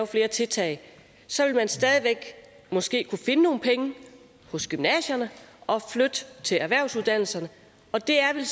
flere tiltag så vil man stadig væk måske kunne finde nogle penge hos gymnasierne og flytte dem til erhvervsuddannelserne det er vel